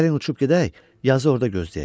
Gəlin uçub gedək, yazı orda gözləyək.